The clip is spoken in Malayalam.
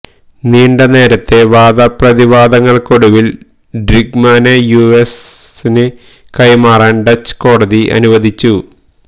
നീണ്ടന്നേരത്തെ വാദപ്രതിവാദങ്ങള്ക്കൊടുവില് ഡ്രിങ്ക്മാനെ യു എസിന് കൈമാറാന് ഡച്ച് കോടതി അനുവദിച്ചു